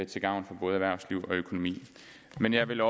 til gavn for både erhvervsliv og økonomi men jeg vil